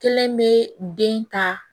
Kelen bɛ den ta